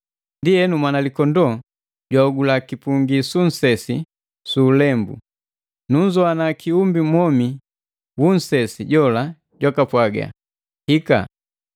Ndienu, Mwanalikondoo jwahogula kipungi su nsesi su ulembu. Nunzowana kiumbi mwomi wu nsesi jola jwaka pwaga, “Hika!”